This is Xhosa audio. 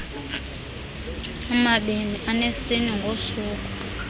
amabini anesine ngosuku